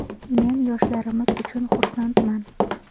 Men yoshlarimiz uchun xursandman.